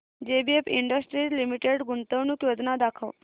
JBF Industries Limited गुंतवणूक योजना दाखव